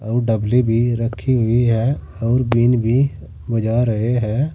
डभली भी रखी हुई है और बीन भी बजा रहे है।